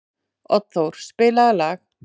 Oddþór, spilaðu lag.